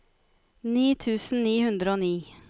ni tusen ni hundre og ni